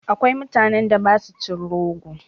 Akwai mutanen da ba su cin rogo.